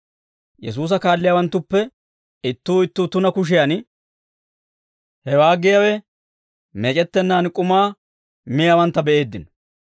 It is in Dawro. Yesuusa kaalliyaawanttuppe ittuu ittuu tuna kushiyan, hewaa giyaawe meec'ettennaan k'umaa miyaawantta be'eeddino.